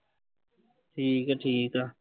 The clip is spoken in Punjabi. ਠੀਕ ਆ ਠੀਕ ਆ।